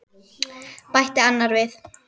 bætti annar við.